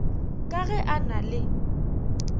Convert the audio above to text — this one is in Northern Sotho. ka ge e na le